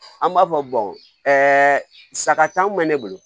An b'a fɔ saga t'an kun bɛ ne bolo